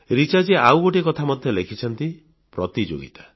ରିଚାଜୀ ଆଉ ଗୋଟିଏ କଥା ମଧ୍ୟ କହିଛନ୍ତି ପ୍ରତିଯୋଗିତା